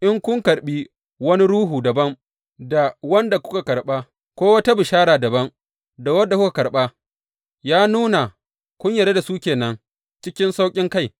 in kun karɓi wani ruhu dabam da wanda kuka karɓa, ko wata bishara dabam da wadda kuka karɓa, ya nuna kun yarda da su ke nan cikin sauƙinkai.